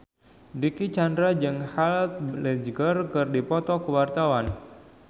Dicky Chandra jeung Heath Ledger keur dipoto ku wartawan